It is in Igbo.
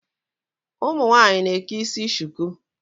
Ụmụ nwaanyị na-eke isi shuku.